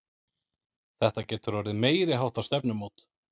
Þetta getur orðið meiriháttar stefnumót!